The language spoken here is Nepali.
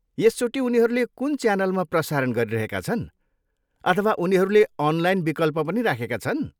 यसचोटि उनीहरूले कुन च्यानलमा प्रसारण गरिरहेका छन् अथवा उनीहरूले अनलाइन विकल्प पनि राखेका छन्?